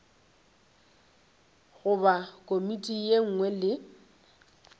goba komiti ye nngwe le